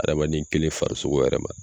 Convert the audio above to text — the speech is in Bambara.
Hadamaden kelen farisogo yɛrɛ ma.